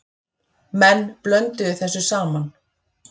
Menn blönduðu þessu saman.